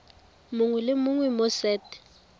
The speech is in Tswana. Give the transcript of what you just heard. mongwe le mongwe mo set